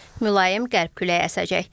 Mülayim qərb küləyi əsəcək.